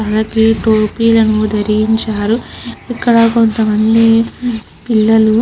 తలకి టోపీలను ధరించారు. ఇక్కడ కొంత మంది పిల్లలు --